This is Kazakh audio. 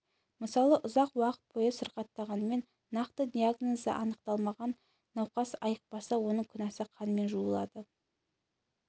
мысалы ұзақ уақыт бойы сырқаттанғанымен нақты диагнозы анықталмаған науқас айықпаса оның күнәсі қанмен жуылады